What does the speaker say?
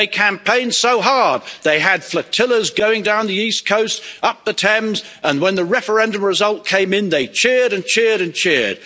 They campaigned so hard they had flotillas going down the east coast, up the Thames and when the referendum result came in, they cheered and cheered and cheered.